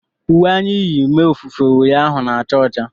Uwe anyị yi mee ofufe ụnyaahụ na-acha ọcha